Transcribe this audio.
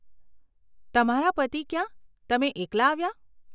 તમારા પતિ ક્યાં, તમે એકલા આવ્યાં?